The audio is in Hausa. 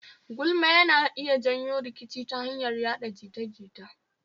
Gulma yana iya janyo rikici ya hanyar yaɗa jita-jita